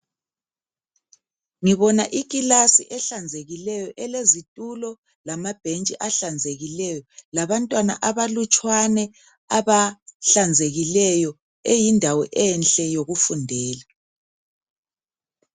Ngibona ikilasi ehlanzekileyo elezitulo lamabhentshi ahlanzekileyo labantwana abalutshwane abahlanzekileyo eyindawo enhle yokufundela.